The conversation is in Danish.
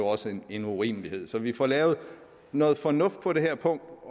også en urimelighed altså så vi får lavet noget fornuftigt på det her punkt